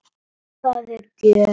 Það er gjöf.